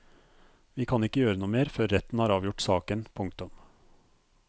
Vi kan ikke gjøre noe mer før retten har avgjort saken. punktum